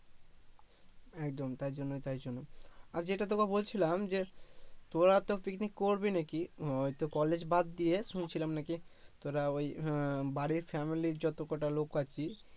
একদম তারজন্য তাই ছিলো আর যেটা তোমাকে বলছিলাম যে তোরা তো পিকনিক করবি নাকি হয়তো কলেজ বাদ দিয়ে শুনেছিলাম নাকি তোরা ওই বাড়ির family যতকটা লোক আছিস